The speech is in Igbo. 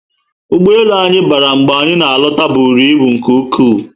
Ụgbọelu anyị bara mgbe anyị na alota bụrụ ibu nke ụkwụ